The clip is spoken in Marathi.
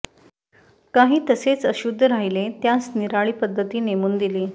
कांहीं तसेच अशुद्ध राहिले त्यांस निराळी पद्धती नेमून दिली